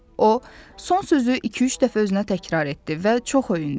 O, son sözü iki-üç dəfə özünə təkrar etdi və çox öyündü.